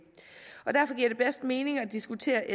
og derfor giver det bedst mening at diskutere